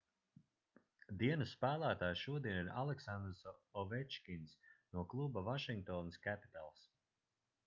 dienas spēlētājs šodien ir aleksandrs ovečkins no kluba vašingtonas capitals